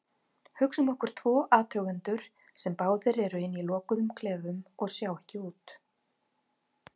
Hugsum okkur tvo athugendur sem báðir eru inni í lokuðum klefum og sjá ekki út.